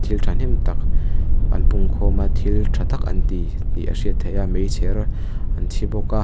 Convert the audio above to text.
thil thahnem tak an pung khawm a thil tha tak an ti tih a hriat theih a meichher an chhi bawk a.